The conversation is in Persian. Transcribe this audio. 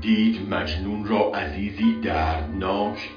دید مجنون را عزیزی دردناک